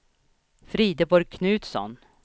Frideborg Knutsson